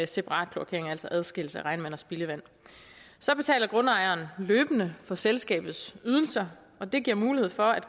separat kloakering altså adskillelse af regnvand og spildevand så betaler grundejerne løbende for selskabets ydelser og det giver mulighed for at